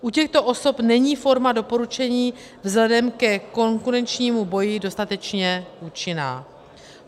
U těchto osob není forma doporučení vzhledem ke konkurenčnímu boji dostatečně účinná.